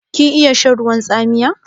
Kin iya shan ruwan tsamiya?